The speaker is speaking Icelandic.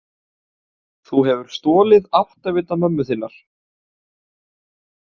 Þú hefur stolið áttavita mömmu þinnar.